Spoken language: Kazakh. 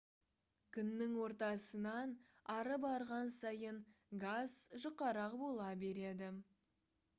күннің ортасынан ары барған сайын газ жұқарақ бола береді